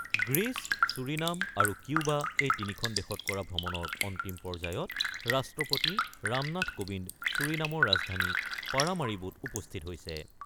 Greece, Suriname আৰু Cuba এই তিনিখন দেশত কৰা ভ্ৰমণৰ অন্তিম পৰ্যায়ত ৰাষ্ট্ৰপতি ৰামনাথ কোবিন্দ ছুৰিনামৰ ৰাজধানী পাৰামাৰিবোত উপস্থিত হৈছে।